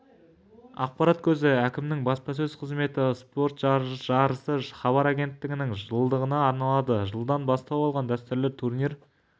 ақпарат көзі әкімінің баспасөз қызметі спорт жарысы хабар агенттігінің жылдығына арналады жылдан бастау алған дәстүрлі турнир